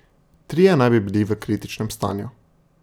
Trije naj bi bili v kritičnem stanju.